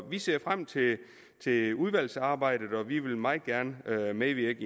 vi ser frem til til udvalgsarbejdet og vi vil meget gerne medvirke